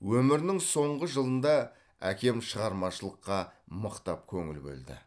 өмірінің соңғы жылында әкем шығармашылыққа мықтап көңіл бөлді